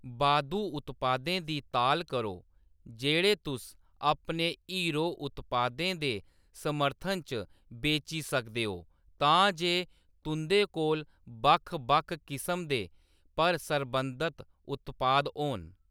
बाद्धू उत्पादें दी ताल करो जेह्‌‌ड़े तुस अपने हीरो उत्पादें दे समर्थन च बेची सकदे ओ तां जे तुंʼदे कोल बक्ख बक्ख किसम दे, पर सरबंधित उत्पाद होन।